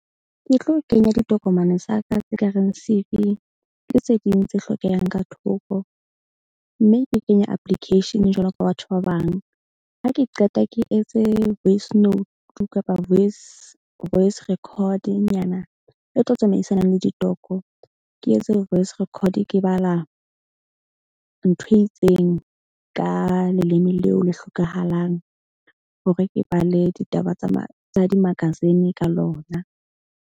Ke tlo kenya ditokomane tsa ka tse kareng C_V le tse ding tse hlokehang ka thoko. Mme ke kenye application jwalo ka batho ba bang. Ha ke qeta ke etse voice note kapa voice record-nyana e tlo tsamaisanang le . Ke etse voice record ke bala ntho e itseng ka leleme leo le hlokahalang hore ke bale ditaba tsa di-magazine ka lona.